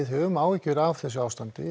höfum áhyggjur af þessu ástandi